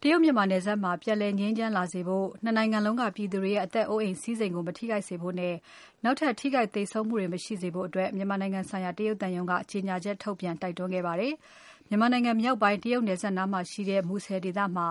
တရုတ် မြန်မာနယ်စပ်မှာ ပြန်လည်ငြိမ်းချမ်းလာစေဖို့ ၂ နိုင်ငံလုံးက ပြည်သူတွေရဲ့ အသက်အိုးအိမ်စည်းစိမ်ကို မထိခိုက်စေဖို့နဲ့ နောက်ထပ် ထိခိုက်သေဆုံးမှုတွေ မရှိစေဖို့အတွက် မြန်မာနိုင်ငံဆိုင်ရာ တရုတ်သံရုံးက ကြေညာချက်ထုတ်ပြန် တိုက်တွန်းခဲ့ပါတယ်။ မြန်မာနိုင်ငံမြောက်ပိုင်း တရုတ်နယ်စပ်နားမှာရှိတဲ့ မူဆယ်ဒေသမှာ